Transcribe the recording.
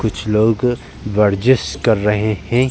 कुछ लोग वर्जिश कर रहे हैं।